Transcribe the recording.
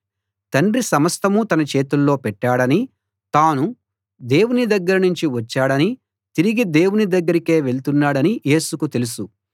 తండ్రి సమస్తం తన చేతుల్లో పెట్టాడనీ తాను దేవుని దగ్గర నుంచి వచ్చాడనీ తిరిగి దేవుని దగ్గరకే వెళ్తున్నాడనీ యేసుకు తెలుసు